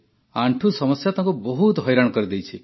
ଆଣ୍ଠୁ ସମସ୍ୟା ତାଙ୍କୁ ବହୁତ ହଇରାଣ କରିଦେଇଛି